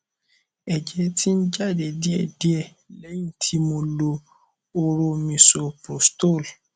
ẹjẹ ti ń jáde díẹ díẹ lẹyìn tí mo lo hóró misoprostol